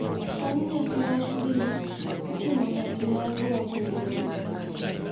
Bang’ nyasi mar din, itimo nyasi mar rwako welo,